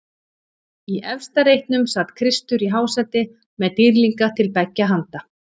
Í efsta reitnum sat Kristur í hásæti með dýrlinga til beggja handa.